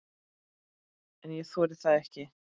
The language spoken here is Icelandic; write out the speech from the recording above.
En ég þori það ekki.